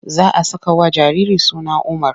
Za a sakawa jariri suna Umar.